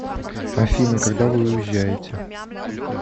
афина когда вы уезжаете